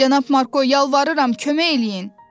Cənab Marko, yalvarıram, kömək eləyin!